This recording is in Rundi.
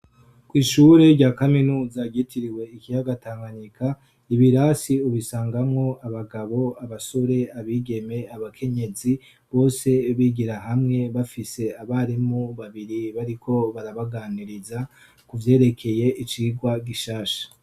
Kw'ishure rya kaminuza ryitiriwe ikiyaga Tanganyika ibirasi, ubisangamwo abagabo, abasore, abigeme, abakenyezi bose bigira hamwe bafise abarimu babiri bariko barabaganiriza kuvyerekeye icigwa gishasha.